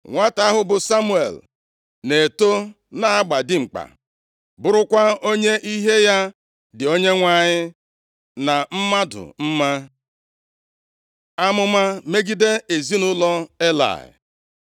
Nwata ahụ bụ Samuel na-eto, na-agba dimkpa, bụrụkwa onye ihe ya dị Onyenwe anyị na mmadụ mma. Amụma megide ezinaụlọ Elayị